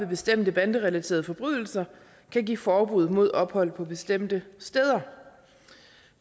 bestemte banderelaterede forbrydelser kan give forbud mod ophold på bestemte steder